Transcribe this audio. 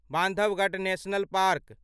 Bandhavgarh national park